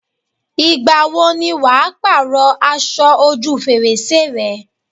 Ìgbà wo ni wà á pàrọ̀ aṣọ ojú fèrèsé rẹ̀?